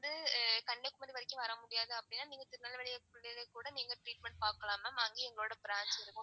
வந்து கன்னியாகுமாரி வரைக்கும் வரமுடியாது அப்படினா நீங்க திருநெல்வேலிலையே கூட treatment பாக்கலாம் ma'am அங்கயும் எங்களோட branch இருக்கு.